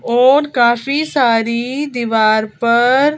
और काफी सारी दीवार पर--